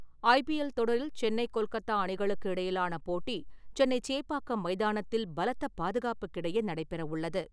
IPL தொடரில் சென்னை கொல்கத்தா அணிகளுக்கு இடையிலான போட்டி சென்னை சேப்பாக்கம் மைதானத்தில் பலத்த பாதுகாப்புக்கு இடையே நடைபெறவுள்ளது.